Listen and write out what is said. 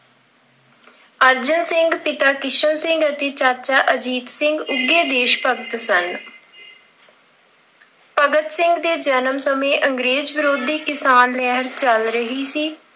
ਅਰਜਨ ਸਿੰਘ, ਪਿਤਾ ਕਿਸ਼ਨ ਸਿੰਘ ਅਤੇ ਚਾਚਾ ਅਜੀਤ ਸਿੰਘ ਉੱਘੇ ਦੇਸ਼ ਭਗਤ ਸਨ। ਭਗਤ ਸਿੰਘ ਦੇ ਜਨਮ ਸਮੇਂ ਅੰਗਰੇਜ਼ ਵਿਰੋਧੀ ਕਿਸਾਨ ਲਹਿਰ ਚੱਲ ਰਹੀ ਸੀ।